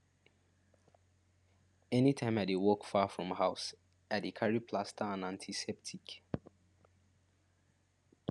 anytime i dey work far from house i dey carry plaster and antiseptic